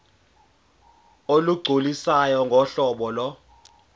olugculisayo ngohlobo lo